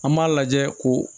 An b'a lajɛ ko